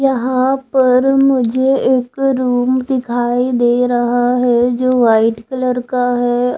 यहां पर मुझे एक रुम दिखाई दे रहा है जो वाइट कलर का है।